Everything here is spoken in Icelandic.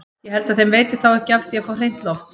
Ég held að þeim veiti þá ekki af því að fá hreint loft!